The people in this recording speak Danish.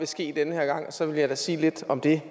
ske den her gang og så vil jeg da sige lidt om det